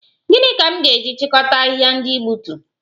Gịnị ka m ga-eji chịkọta ahịhịa ndị ị gbutu?